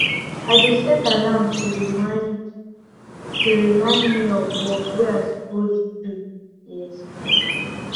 i dey set alarm to remind alarm to remind me of work wey i suppose do e expire